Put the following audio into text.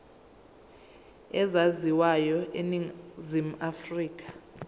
ezaziwayo eningizimu afrika